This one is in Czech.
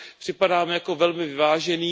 Připadá mi jako velmi vyvážený.